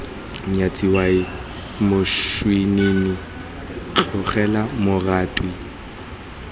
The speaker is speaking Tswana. nyatsa owaii moswinini tlogela moratwe